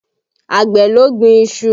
Àgbẹ̀ ló gbin iṣu